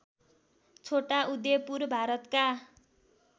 छोटा उदयपुर भारतका